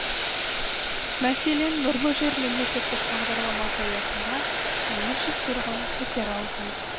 мәселен нұрлы жер мемлекеттік бағдарламасы аясында мың үш жүз тұрғын пәтер алған